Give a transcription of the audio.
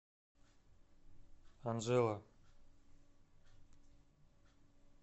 анжела